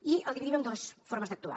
i el dividim en dues formes d’actuar